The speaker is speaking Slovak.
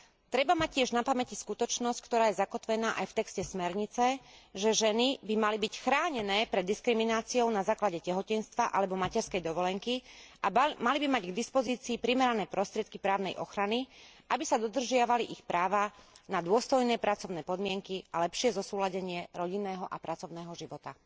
Treba mať tiež na pamäti skutočnosť, ktorá je zakotvená aj v texte smernice, že ženy by mali byť chránené pred diskrimináciou na základe tehotenstva alebo materskej dovolenky a mali by mať k dispozícii primerané prostriedky právnej ochrany, aby sa dodržiavali ich práva na dôstojné pracovné podmienky a lepšie zosúladenie rodinného a pracovného života.